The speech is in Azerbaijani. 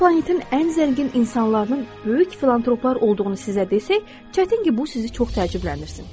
Əgər planetin ən zəngin insanlarının böyük filantroplar olduğunu sizə desək, çətin ki, bu sizi çox təəccübləndirsin.